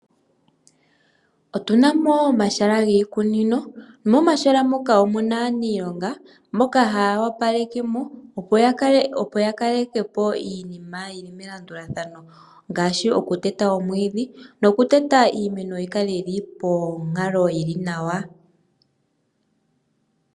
Otuna mo omahala giikunino, momahala moka omuna aaniilonga mboka haya wapalekemo opo ya kalekepo iinima yili melandulathano, ngaashi okuteta oomwiidhi nokuteta iimeno opo yi kale yili ponkalo yili nawa.